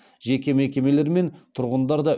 жеке мекемелер мен тұрғындар да